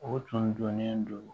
O tun dɔnnen don